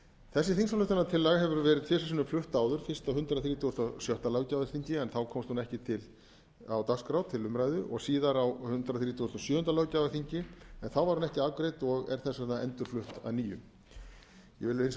þessi þingsályktunartillaga hefur verið tvisvar sinnum flutt áður fyrst á hundrað þrítugasta og sjötta löggjafarþingi en þá komst hún ekki á dagskrá til umræðu og síðar á hundrað þrítugasta og sjöunda löggjafarþingi en þá var hún ekki afgreidd og er þess vegna endurflutt að nýju ég vil hins vegar